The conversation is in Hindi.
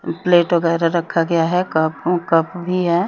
प्लेट वगेरा रखा गया है कप अम्म कप भी है।